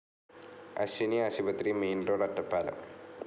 അശ്വിനി ആശുപത്രി, main road, Ottapalam